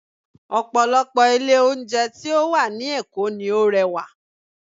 Ọ̀pọ̀lọpọ̀ ilé oúnjẹ tí ó wà ní Èkó ni ó rẹwà